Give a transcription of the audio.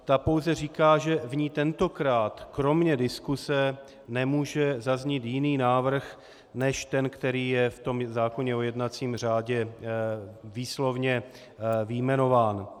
Ta pouze říká, že v ní tentokrát kromě diskuse nemůže zaznít jiný návrh než ten, který je v tom zákoně o jednacím řádě výslovně vyjmenován.